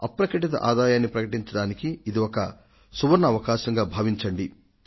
బహిరంగపరచని ఆదాయాన్ని ప్రకటించడానికి ఇది ఒక సువర్ణావకాశం